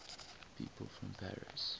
people from paris